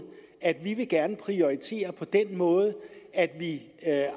at vi gerne vil prioritere på den måde at vi